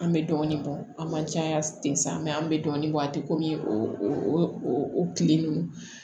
An bɛ dɔɔnin bɔ an man caya ten sa mɛ an bɛ dɔɔnin bɔ a tɛ kɔmi o tile ninnu